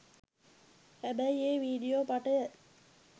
හැබැයි ඒ වීඩියෝ පටය